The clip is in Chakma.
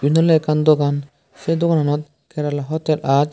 eyed awle ekkan dogan se dogananot kerela hotel aaj.